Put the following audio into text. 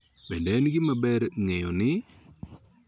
Bende, en gima ber ng�eyo ni .